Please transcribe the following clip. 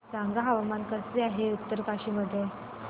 सांगा हवामान कसे आहे उत्तरकाशी मध्ये